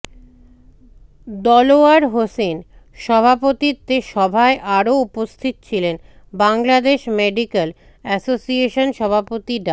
দেলোয়ার হোসেন সভাপতিত্বে সভায় আরও উপস্থিত ছিলেন বাংলাদেশ মেডিক্যাল অ্যাসোসিয়েশন সভাপতি ডা